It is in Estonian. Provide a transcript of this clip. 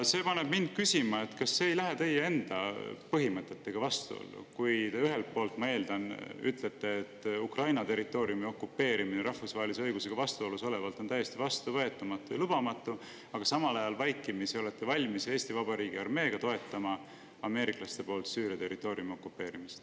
See paneb mind küsima, kas see ei lähe teie enda põhimõtetega vastuollu, kui ühelt poolt, ma eeldan, te ütlete, et Ukraina territooriumi okupeerimine rahvusvahelise õigusega vastuolus olevalt on täiesti vastuvõetamatu ja lubamatu, aga samal ajal vaikimisi olete valmis Eesti Vabariigi armeega toetama ameeriklaste poolt Süüria territooriumi okupeerimist.